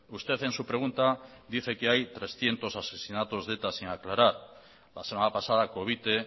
usted en su pregunta dice que hay trescientos asesinatos de eta sin aclarar la semana pasada covite